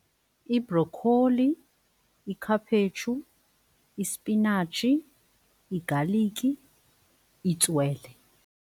Ibrokholi, ikhaphetshu, ispinatshi, igaliki, itswele.